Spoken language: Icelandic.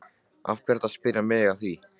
Af hverju ertu að spyrja mig að því?